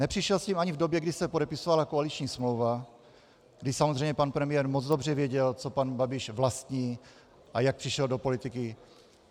Nepřišel s tím ani v době, kdy se podepisovala koaliční smlouva, kdy samozřejmě pan premiér moc dobře věděl, co pan Babiš vlastní a jak přišel do politiky.